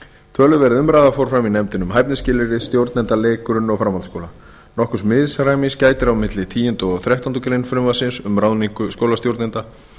töluverð umræða fór fram í nefndinni um hæfnisskilyrði stjórnenda leik grunn og framhaldsskóla nokkurs misræmis gætir á milli tíunda og þrettándu greinar frumvarpsins um ráðningu skólastjórnenda